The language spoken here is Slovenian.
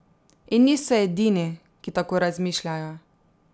In niso edini, ki tako razmišljajo.